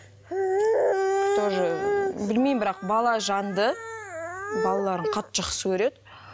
тоже білмеймін бірақ балажанды балаларын қатты жақсы көреді